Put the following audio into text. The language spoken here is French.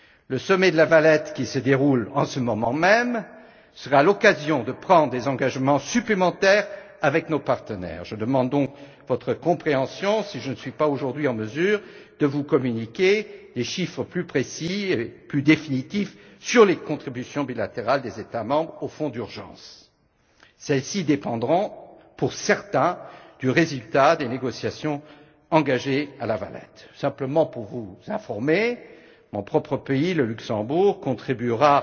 Le sommet de La Valette, qui se déroule en ce moment même, sera l'occasion de prendre des engagements supplémentaires avec nos partenaires. Je demande donc votre compréhension si je ne suis pas aujourd'hui en mesure de vous communiquer des chiffres plus précis et plus définitifs sur les contributions bilatérales des États membres au fonds d'urgence. Celles ci dépendront, pour certains, du résultat des négociations engagées à La Valette. Mon propre pays, le Luxembourg simplement pour vous informer contribuera